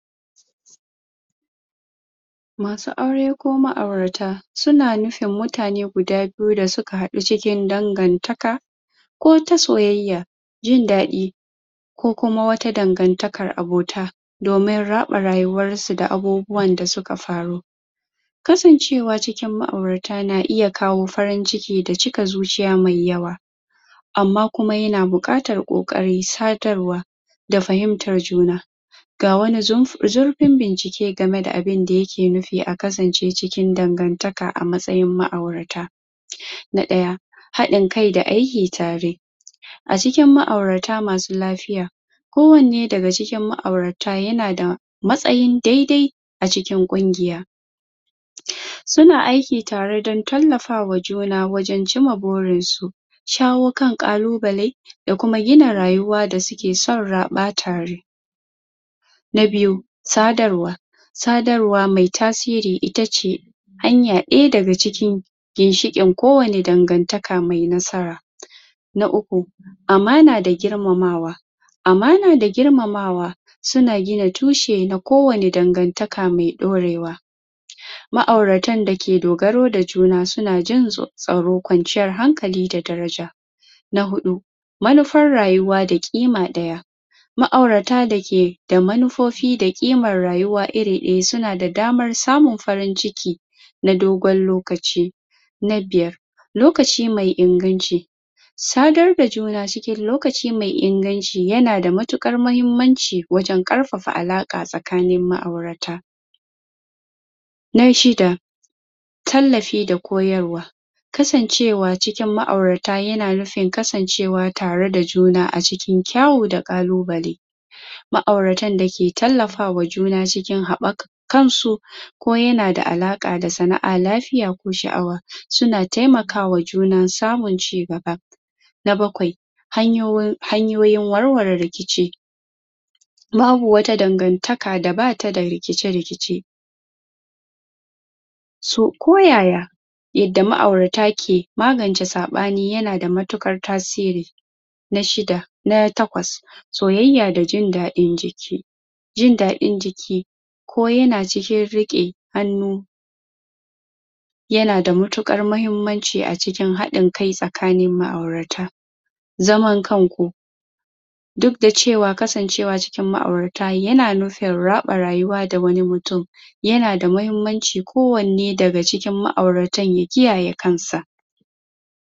masu aure ko ma'aurata suna nufin mutane guda biyu da suka haɗu cikin dangantaka ko ta soyayya jin daɗi ko kuma wata dangantakar abota domin raɓa rayuwarsu da abubuwan da suka faru kasancewa cikin ma'aurata na iya kawo farin ciki da cika zuciyz mai yawa amma kuma yana buƙatar ƙoƙarin sadarwa da fahimtar juna ga wani zurf, zurfin bincike gameda abinda yake nufia a kasance cikin dangantaka a matsayin ma'aurata na ɗaya haɗin kai da aiki tare a cikin ma'aurata massu lafiya kowanne daga cikin ma'aurata yanada matsayin daidai a cikin ƙungiya suna aiki tare don tallafawa juna wajen cimma burinsu shawo kan ƙaalubale da kuma gina rayuwa da suke son raɓa tare na biyu sadarwa sadarwa mai tasiri itace hanya ɗaya daga cikin ginshiin kowanne dangantaka mai nasara na uku amana da girmamawa amana da girmamawa suna ggina tushe na kowanne dangantaka mai ɗorewa ma'auratan dake dogaro da juna suna jin tsaro kwanciyar hankali da daraja na huɗu manufar rayuwa da ƙima ɗaya ma'aurata dake da manufofi da ƙimar rayuwa iri ɗaya suna da damar samun farin ciki na dogon lokaci na biyar lokaci mai inganci sadarda juna cikin lokaci mai inganci yanada matuƙar mahimmanci wajen ƙarfafa alaƙa tsakanin ma'aurata na shida talafi da koyarwa kasancewacinkin ma'aurata yana nufin kasancewa tare da juna a cikin kyawu da ƙalubale ma'auratan dake tallafawa juna cikin haɓaka kansu ko yanada alaƙa da sana'a, lafiya ko sha'awa suna taimakawa juna samun ci gaba na bakwai hanyoyin, hanyoyin warware rikici babu wata dangantaka da bata da rikice-rikice so ko yaya yadda ma'aurata ke magance saɓani yanada matuƙar tasiri na shida na takwas soyayya da jin daɗin jiki jin daɗin jiki ko yana cikin riƙe hannu yanada matuƙar mahimmanci a cikin haɗin kai tsakanin ma'aurata zaman kanku duk da cewaa kasancewa cikin ma'aurata yan nufin raɓa rayuwa da wani mutum yanada mahimmanci kowanne daga cikin ma'auratan ya kiyaye kansa